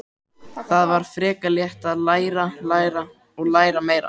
Það var frekar létt: að læra, læra og læra meira.